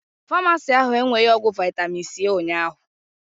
Famasi ahụ enweghi ọgwụ vitami c ụnyaahụ